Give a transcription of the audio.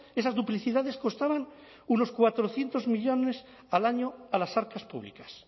esas duplicidades costaban unos cuatrocientos millónes al año a las arcas públicas